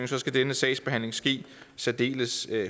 skal denne sagsbehandling ske særdeles